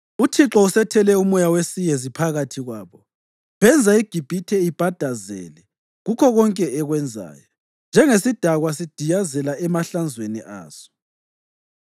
UThixo usethele umoya wesiyezi phakathi kwabo; benza iGibhithe ibhadazele kukho konke ekwenzayo, njengesidakwa sidiyazela emahlanzweni aso.